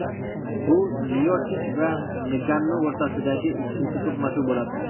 Bu Miochich va Ngannu o‘rtasidagi ikkinchi to‘qnashuv bo‘ladi.